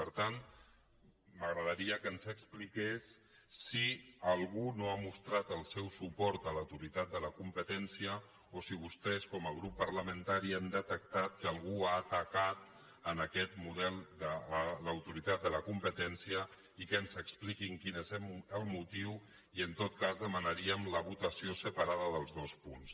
per tant m’agradaria que ens expli·qués si algú no ha mostrat el seu suport a l’autoritat de la competència o si vostès com a grup parlamen·tari han detectat que algú ha atacat aquest model de l’autoritat de la competència i que ens expliquin quin és el motiu i en tot cas demanaríem la votació sepa·rada dels dos punts